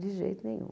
De jeito nenhum.